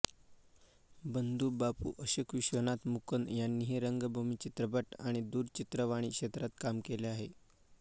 बंधू बापू अशोक विश्वनाथ मुकुंद यांनीही रंगभूमी चित्रपट आणि दूरचित्रवाणी क्षेत्रात काम केले आहे